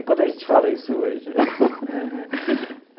E quando a gente fala isso hoje?